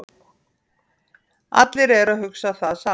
Allir eru að hugsa það sama